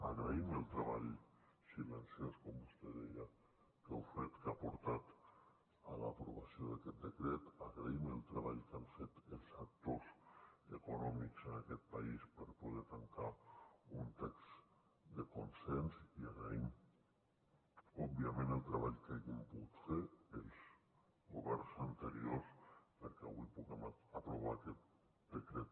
agraïm el treball silenciós com vostè deia que heu fet que ha portat a l’aprovació d’aquest decret agraïm el treball que han fet els actors econòmics en aquest país per poder tancar un text de consens i agraïm òbviament el treball que hagin pogut fer els governs anteriors perquè avui puguem aprovar aquest decret